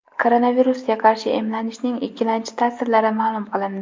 Koronavirusga qarshi emlanishning ikkilamchi ta’sirlari ma’lum qilindi.